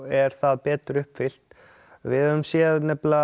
er það betur uppfyllt við höfum séð